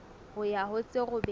ho ya ho tse robedi